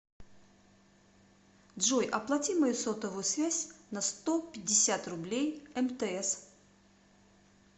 джой оплати мою сотовую связь на сто пятьдесят рублей мтс